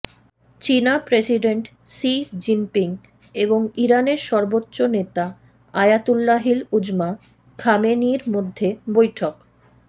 চীনা president Xi Jinping এবং ইরানের সর্বোচ্চ নেতা আয়াতুল্লাহিল উজমা খামেনেয়ীর মধ্যে বৈঠক